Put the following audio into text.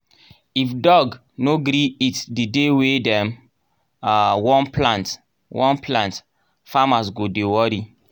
if dog no gree eat the day wey dem um wan plant wan plant farmers go dey worry